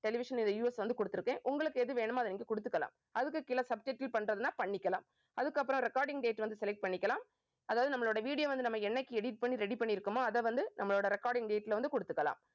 television வந்து கொடுத்திருக்கேன். உங்களுக்கு எது வேணுமோ அதை நீங்க கொடுத்துக்கலாம். அதுக்கு கீழே subtitle பண்றதுன்னா பண்ணிக்கலாம். அதுக்கப்புறம் recording date வந்து select பண்ணிக்கலாம். அதாவது நம்மளோட video வந்து நம்ம என்னைக்கு edit பண்ணி ready பண்ணி இருக்கோமோ அதை வந்து நம்மளோட recording date ல வந்து கொடுத்துக்கலாம்